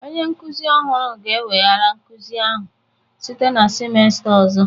Onye nkuzi ọhụrụ ga-eweghara nkuzi ahụ site na semester ọzọ